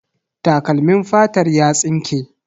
Takalmin fatar ya tsinke.